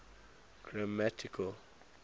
grammatical